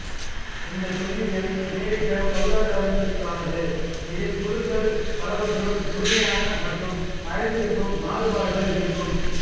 இந்த புள்ளியியல் அமெரிக்கப் பொருளாதாரத்திற்கானது இதில் குழுக்கள் பலவற்றுள் முழுமையான மற்றும் மறைந்திருக்கும் மாறுபாடுகள் இருக்கும்